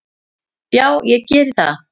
"""Já, ég geri það."""